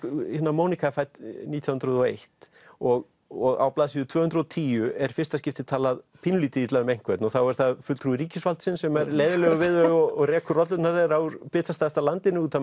Monika er fædd nítján hundruð og eitt og og á blaðsíðu tvö hundruð og tíu er í fyrsta skipti talað pínulítið illa um einhvern og þá er það fulltrúi ríkisvaldsins sem er leiðinlegur við þau og rekur rollurnar þeirra úr bitastæðasta landinu út af